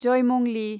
जयमंलि